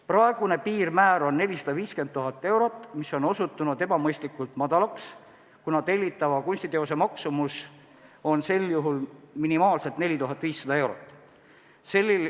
Praegune piirmäär on 450 000 eurot, mis on osutunud ebamõistlikult madalaks, kuna tellitava kunstiteose maksumus on sel juhul minimaalselt 4500 eurot.